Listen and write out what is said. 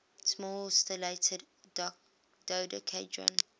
small stellated dodecahedron